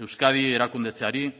euskadi erakundetzeari